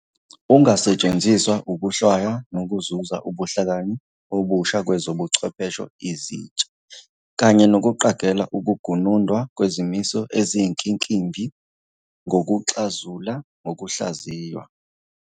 Ungasetshenziswa ukuhlwaya nokuzuza ubuhlakani obusha kwezobuchwepheshe ezintsha, kanye nokuqagela ukugunundwa kwezimiso eziyinkimbinkimbi ngokuxazula ngokuhlaziywa.